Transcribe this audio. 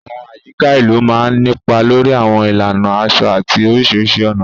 Àwọn àyíká ìlú máa ń nípa lórí àwọn ìlànà aṣọ àti oríṣiríṣi ọ̀nà.